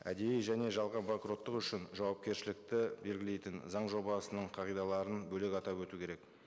әдейі және жалған банкроттық үшін жауапкершілікті белгілейтін заң жобасының қағидаларын бөлек атап өту керек